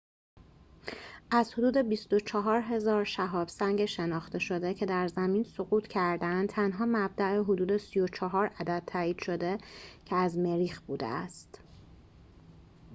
از حدود ۲۴۰۰۰ شهاب سنگ شناخته شده که در زمین سقوط کرده‌اند تنها مبدأ حدود ۳۴ عدد تائید شده که از مریخ بوده است